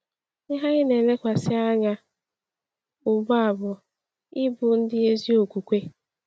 Ihe anyị na-elekwasị anya ugbu a bụ ịbụ ndị ezi okwukwe.